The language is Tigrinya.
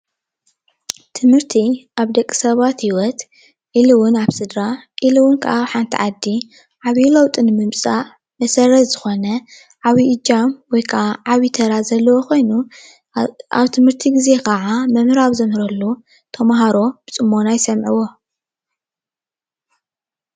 ትምህርቲ ኣብ ደቂ ሰባት ህይወት ኢሉ እውን ኣብ ስድራ ኢሉ እውን ኣብ ሓንቲ ዓዲ ዓብዪ ለውጢ ንምምፃእ መሰረት ዝኾነ ዓብዪ እጃም ወይ ከዓ ዓብዪ ተራ ዘለዎ ኮይኑ፣ ኣብ ትምህርቲ ግዜ ከዓ መምህር ኣብ ዘምህረሉ ተምሃሮ ብፅሞና ይሰምዕዎ።